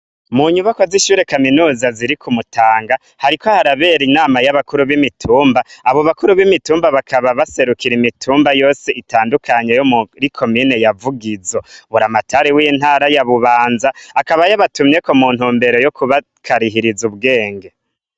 Mu nyubakwa z'ishure kaminuza ziri ku Mutanga, hariko harabera inama y'abakuru b'imitumba, abo bakuru b'imitumba bakaba baserukira imitumba yose itandukanye yo muri komine ya Vugizo. Buramatari w'intara ya Bubanza akaba yabatumyeko muntumbero yo kubakarihiriza ubwenge.